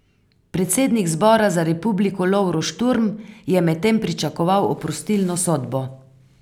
Predsednik Zbora za republiko Lovro Šturm je medtem pričakoval oprostilno sodbo.